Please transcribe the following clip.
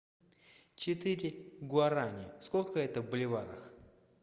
четыре гуарани сколько это в боливарах